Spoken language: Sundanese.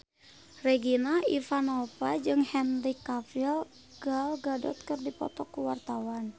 Regina Ivanova jeung Henry Cavill Gal Gadot keur dipoto ku wartawan